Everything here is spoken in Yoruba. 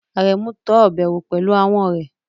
Aremu tọ́ ọbẹ̀ wò pẹ̀lú ahọ́n rẹ̀.